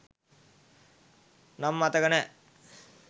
නම මතක නෑ